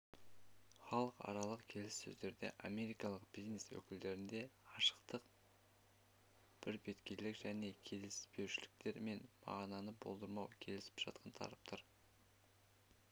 халықаралық келіссөздерде америкалық бизнес өкілдерінде ашықтық бірбеткейлік және келіспеушіліктер мен мағынаны болдырмау келісіп жатқан тараптар